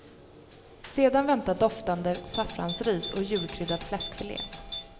Sedan väntar doftande saffransris och julkryddad fläskfilé.